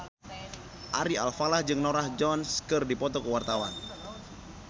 Ari Alfalah jeung Norah Jones keur dipoto ku wartawan